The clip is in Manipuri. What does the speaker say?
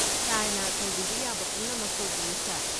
ꯁꯥꯔꯅ ꯇꯧꯕꯤꯕ ꯌꯥꯕ ꯄꯨꯝꯅꯃꯛ ꯇꯧꯕꯤꯌꯨ, ꯁꯥꯔ꯫